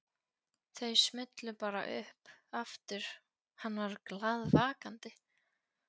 Þau smullu bara upp aftur hann var glaðvakandi.